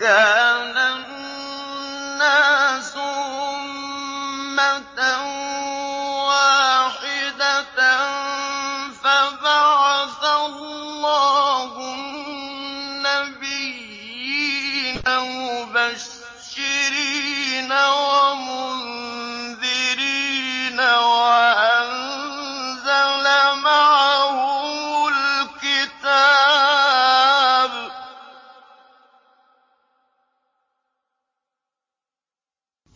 كَانَ النَّاسُ أُمَّةً وَاحِدَةً فَبَعَثَ اللَّهُ النَّبِيِّينَ مُبَشِّرِينَ وَمُنذِرِينَ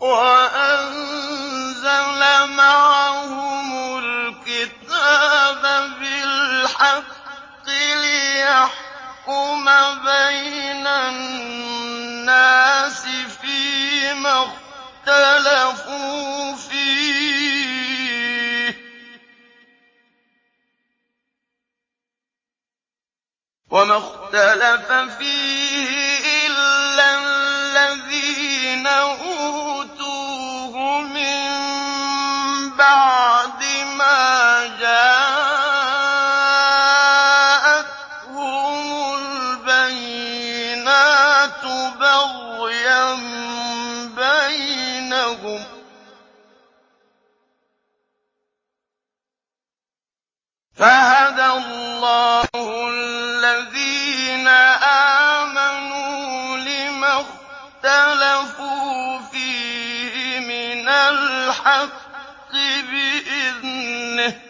وَأَنزَلَ مَعَهُمُ الْكِتَابَ بِالْحَقِّ لِيَحْكُمَ بَيْنَ النَّاسِ فِيمَا اخْتَلَفُوا فِيهِ ۚ وَمَا اخْتَلَفَ فِيهِ إِلَّا الَّذِينَ أُوتُوهُ مِن بَعْدِ مَا جَاءَتْهُمُ الْبَيِّنَاتُ بَغْيًا بَيْنَهُمْ ۖ فَهَدَى اللَّهُ الَّذِينَ آمَنُوا لِمَا اخْتَلَفُوا فِيهِ مِنَ الْحَقِّ بِإِذْنِهِ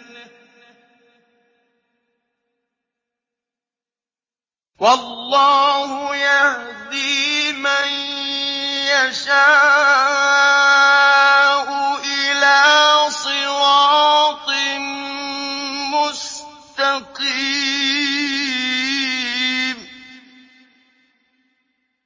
ۗ وَاللَّهُ يَهْدِي مَن يَشَاءُ إِلَىٰ صِرَاطٍ مُّسْتَقِيمٍ